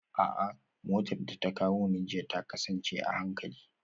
A'a, motar da ta kawo ni jiya ta kasance a hankali